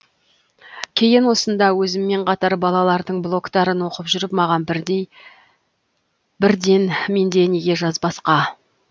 кейін осында өзіммен қатар балалардың блогтарын оқып жүріп маған бірден менде неге жазбасқа